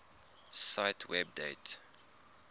cite web date